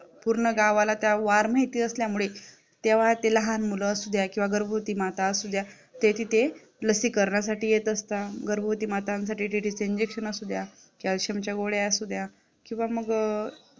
पूर्ण गावाला त्या वार माहिती असल्यामुळे तेव्हा ते लहान मुलं असुद्या किंवा गर्भवती माता असुद्या ते लसीकरणासाठी येत असता गर्भवती मातांसाठी TT चं Injection असुद्या Calcium च्या गोळ्या असुद्या किंवा मग